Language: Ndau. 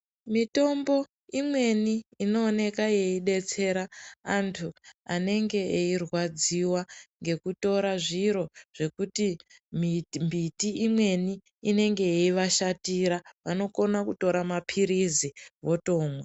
Mitombo imweni inooneka yeidetsera vantu vanenge veirwadziwa ngekutora zviro zvekuti mbiti imweni inenge yeivashatira vanokona kutora mapirizi votomwa.